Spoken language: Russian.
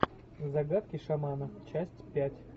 загадки шамана часть пять